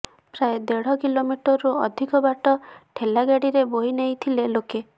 ପ୍ରାୟ ଦେଢ଼ କିଲୋମିଟରରୁ ଅଧିକ ବାଟ ଠେଲା ଗାଡିରେ ବୋହି ନେଇଥିଲେ ଲୋକେ